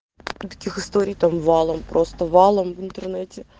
таких историй там валом просто валом в интернете